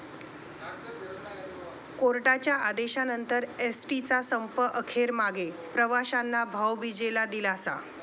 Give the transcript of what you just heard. कोर्टाच्या आदेशानंतर एसटीचा संप अखेर मागे, प्रवाशांना भाऊबिजेला दिलासा